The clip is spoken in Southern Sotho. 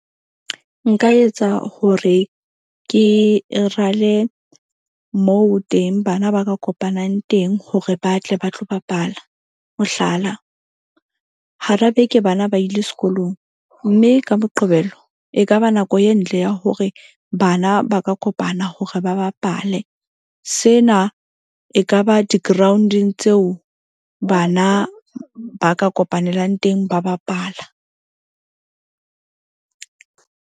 Nka etsa hore ke rale moo teng bana ba ka kopanang teng hore ba tle ba tlo bapala. Mohlala, hara beke, bana ba ile sekolong mme ka Moqebelo e kaba nako e ntle ya hore bana ba ka kopana hore ba bapale. Sena ekaba di-ground-eng tseo bana ba ka kopanelang teng ba bapala.